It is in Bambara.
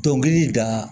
Dɔnkili da